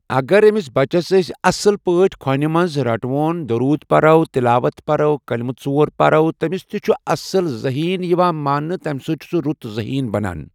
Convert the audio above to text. اگر أمِس بچس أسۍ اصٲل پٲٹھۍ کھۄنہِ منٛز رٹھہون دروٗد پٔرو تلاوت پٔرو کٔلمہٕ ژور پٔرو تمِس تہِ چھُ اصل ذہین یِوان تمہِ سۭتۍ چھُ سُہ رُت ذہیٖن بنان ۔